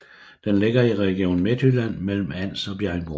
Den ligger i Region Midtjylland mellem Ans og Bjerringbro